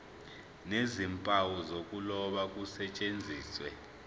nezimpawu zokuloba kusetshenziswe